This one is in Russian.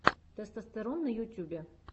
тестостерон на ютьюбе